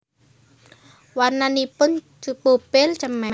Warnanipun pupil cemeng